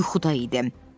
O yuxuda idi.